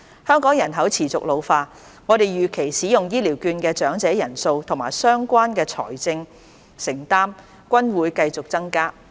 香港人口持續老化，我們預期使用醫療券的長者人數和相關的財政承擔均會繼續增加。